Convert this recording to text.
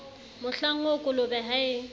mohlang oo kolobe ha e